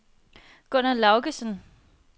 Gunner Laugesen